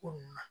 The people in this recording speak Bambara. Ko nun na